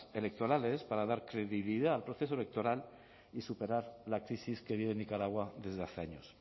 electorales para dar credibilidad al proceso electoral y superar la crisis que vive nicaragua desde hace años